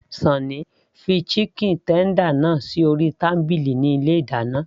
Sunny fi chicken tender náà sí orí tábìlì ní ilé ìdáná